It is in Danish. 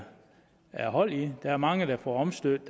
er hold i det der er mange der får omstødt